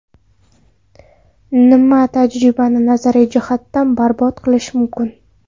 Nima tajribani nazariy jihatdan barbod qilishi mumkin?